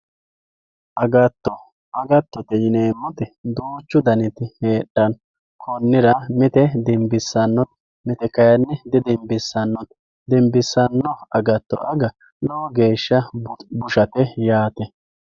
agatto agattotete yineemmoti duuchu daniti heedhanno mite dinbissannoti mite didinbissannote konni daafira dinbissanno agatto aga lowo geeshsha bushate yaate